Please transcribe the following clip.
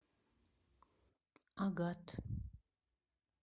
агат